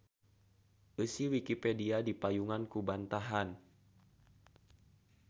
Eusi Wikipedia dipayungan ku bantahan.